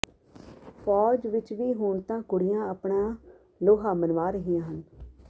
ਫੌਜ ਵਿੱਚ ਵੀ ਹੁਣ ਤਾਂ ਕੁੜੀਆਂ ਆਪਣਾ ਲੋਹਾ ਮਨਵਾ ਰਹੀਆਂ ਹਨ